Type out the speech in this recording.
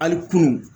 Hali kunun